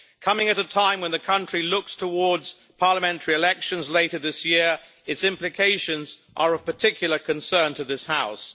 Coming at a time when the country is looking towards parliamentary elections later this year, its implications are of particular concern to this House.